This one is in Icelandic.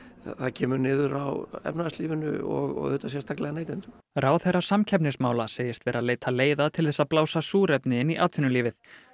það kemur niður á efnahagslífinu og sérstaklega neytendum ráðherra samkeppnismála segist vera að leita leiða til þess að blása súrefni inn í atvinnulífið